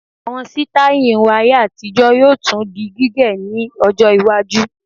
Àwọn sítáì irun ayé-àtijọ́ yóò tún di gígẹ̀ ní ọjọ́-iwájú.